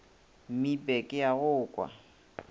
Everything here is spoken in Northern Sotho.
mmipe ke a go kwa